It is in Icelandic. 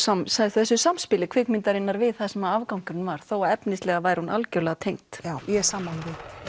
þessu samspili kvikmyndarinnar við það sem afgangurinn var þó að efnislega væri hún algjörlega tengd já ég er sammála því